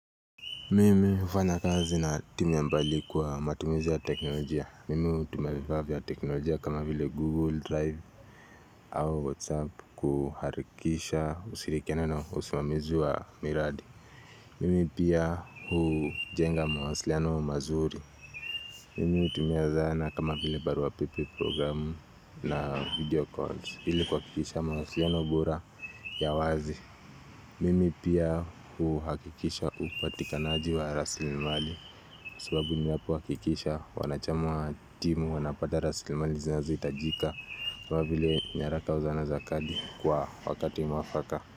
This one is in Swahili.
Mimi hufanya kazi na timu ya mbali kwa matumizi ya teknolojia. Mimi hutumia vifaa vya teknolojia kama vile google drive au whatsapp kuharikisha ushirikiano na usimamizi wa miradi. Mimi pia hujenga mawasiliano mazuri. Mimi hutumia zana kama vile barua pepe programu na video calls. Hili kuwakikisha mawasiliano bora ya wazi. Mimi pia huhakikisha upatikanaji wa rasilimali. Subabu ni wapo wakikisha wanachama wa timu wanapata rasilimali zinazo itajika kama vile nyaraka au zana za kadi Kwa wakati mwafaka.